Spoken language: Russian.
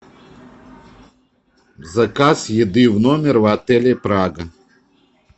заказ еды в номер в отеле прага